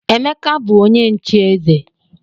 Emeka bu onye nche eze.